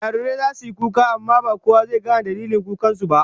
Jarirai zasu yi kuka amma ba kowa zai gane dalilin kukan su ba